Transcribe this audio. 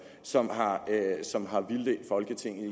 som som har vildledt folketinget i